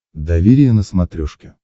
доверие на смотрешке